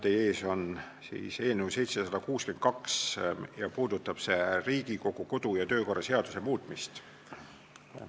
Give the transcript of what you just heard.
Teie ees on eelnõu 762 ja puudutab see Riigikogu kodu- ja töökorra seaduse muutmist.